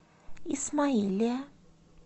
исмаилия